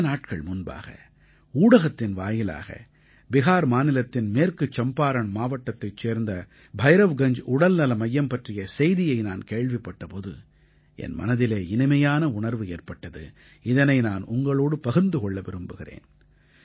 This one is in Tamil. சில நாட்கள் முன்பாக ஊடகத்தின் வாயிலாக பிஹார் மாநிலத்தின் மேற்கு சம்பாரண் மாவட்டத்தைச் சேர்ந்த பைரவ்கஞ்ஜ் உடல்நல மையம் பற்றிய செய்தியை நான் கேள்விப்பட்ட போது என் மனதிலே இனிமையான உணர்வு ஏற்பட்டது இதனை நான் உங்களோடு பகிர்ந்து கொள்ள விரும்புகிறேன்